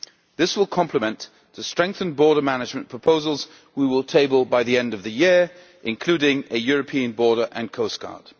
This will complement the strengthened border management proposals we will table by the end of the year, including a European border and coastguard.